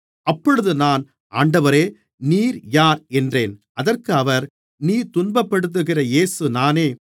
அப்பொழுது நான் ஆண்டவரே நீர் யார் என்றேன் அதற்கு அவர் நீ துன்பப்படுத்துகிற இயேசு நானே